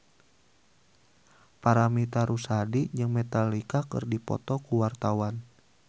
Paramitha Rusady jeung Metallica keur dipoto ku wartawan